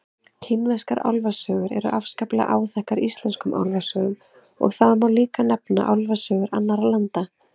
Kínverskar álfasögur eru afskaplega áþekkar íslenskum álfasögum og það má líka nefna álfasögur annarra landa.